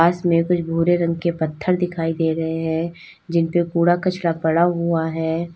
पास में कुछ भूरे रंग के पत्थर दिखाई दे रहे है जिनपे कूड़ा कचरा पड़ा हुआ है।